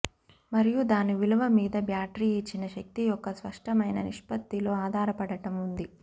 మరియు దాని విలువ మీద బ్యాటరీ ఇచ్చిన శక్తి యొక్క స్పష్టమైన నిష్పత్తిలో ఆధారపడటం ఉంది